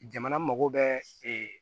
Jamana mago bɛ